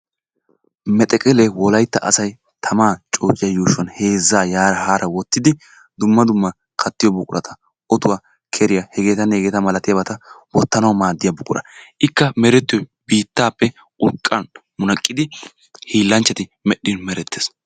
Mexeqqele wolaytta asay tamaa coociyaa yuushuwani heezzaa haara yaara wottidi dumma dumma kattiyoo buqquratta ottuwaa keriyaa hegettanne hegetta malattiyabatta wottanawu maadiyaa buqura. Ikka meretiyoy biittappe urqqaa munaqqidi hiilanchatti medhdhin merettes.